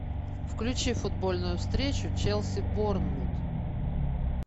включи футбольную встречу челси борнмут